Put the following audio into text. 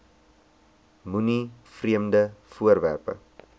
moenie vreemde voorwerpe